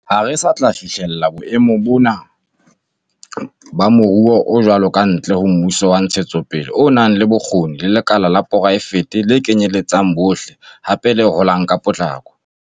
Ha re sa tla fihlela boemo ba moruo o jwalo kantle ho mmuso wa ntshetsopele o nang le bokgoni le lekala la poraefete le kenyeletsang bohle, hape le holang ka potlako.